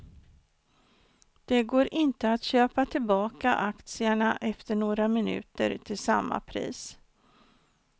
Det går inte att köpa tillbaka aktierna efter några minuter till samma pris.